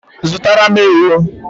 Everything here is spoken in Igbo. Zụtara m ewu